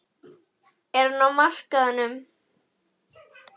Er hann á markaðnum?